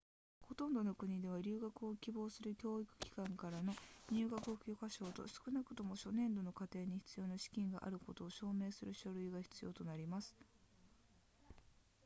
ほとんどの国では留学を希望する教育機関からの入学許可書と少なくとも初年度の課程に必要な資金があることを証明する書類が必要となります